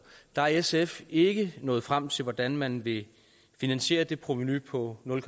er sf ikke nået frem til hvordan man vil finansiere det provenu på nul